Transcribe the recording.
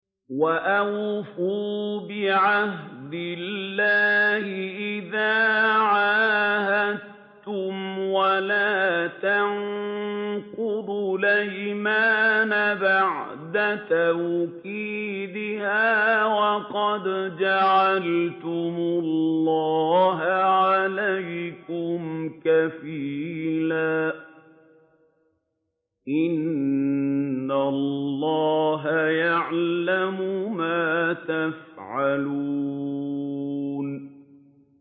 وَأَوْفُوا بِعَهْدِ اللَّهِ إِذَا عَاهَدتُّمْ وَلَا تَنقُضُوا الْأَيْمَانَ بَعْدَ تَوْكِيدِهَا وَقَدْ جَعَلْتُمُ اللَّهَ عَلَيْكُمْ كَفِيلًا ۚ إِنَّ اللَّهَ يَعْلَمُ مَا تَفْعَلُونَ